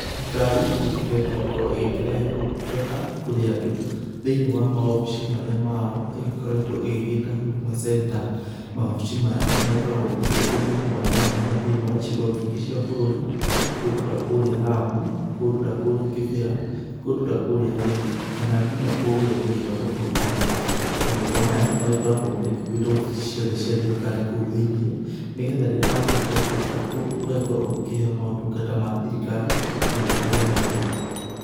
Thirikari nĩ ĩkĩgeretie gũkorwo ĩkĩrehe ũtungata kũrĩ andũ thĩi wa maobici marĩa mao ĩgĩkoretwo ĩgĩgĩta huduma center. Maobici maya magĩkoragwo makĩrĩ kũndũ mwanya mwanya thĩinĩ wa icigo nyingĩ cia bũrũri, kũndũ ta kũrĩa Lamu. kũndũ ta kũrĩa Kĩbĩra, kũndũ ta kũrĩa Embu. Kana nginya ta kũrĩa gũgĩtagwo Turkana. Manyũmba maya magĩkoragwo magĩkuĩte obici ciothe cia thirikari kũu thĩinĩ nĩ getha rĩrĩa wakĩingĩra kũndũ ta kũu ũgakorwo ũgĩkĩheo maũtungata mathirikari magĩtiganĩte.